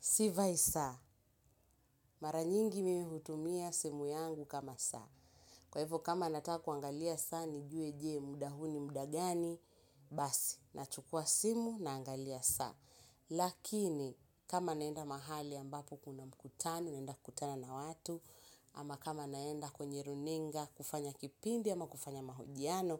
Sivai saa. Mara nyingi mimi hutumia simu yangu kama saa. Kwa hivyo kama nataka kuangalia saa nijue je muda huu ni muda gani basi. Nachukua simu naangalia saa. Lakini kama naenda mahali ambapo kuna mkutano naenda kutana na watu ama kama naenda kwenye runinga kufanya kipindi ama kufanya mahojiano,